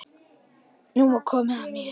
Nú var komið að mér.